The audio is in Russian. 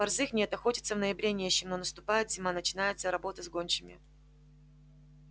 борзых нет охотиться в ноябре не с чем но наступает зима начинается работа с гончими